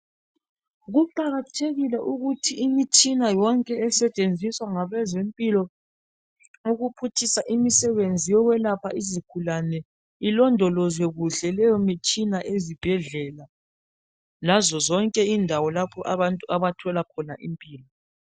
Kuqakathekile ukuthi imitshina yonke esetshenziswa ngabezempilo ukuphutshisa imisebenzi yokwelapha izigulane ilondolozwe kuhle leyo mitshina ezibhedlela lazo zonke indawo lapho abantu abathola khona impilo.